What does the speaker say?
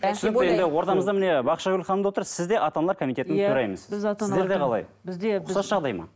ортамызда міне бақшагүл ханым да отыр сіз де ата аналар комитетінің төрайымысыз сіздерде қалай ұқсас жағдай ма